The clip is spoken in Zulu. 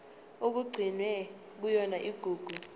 okugcinwe kuyona igugu